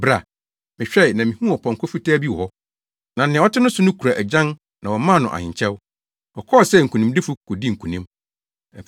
Mehwɛe, na mihuu ɔpɔnkɔ fitaa bi wɔ hɔ. Na nea ɔte ne so no kura agyan na wɔmaa no ahenkyɛw. Ɔkɔɔ sɛ nkonimdifo kodii nkonim.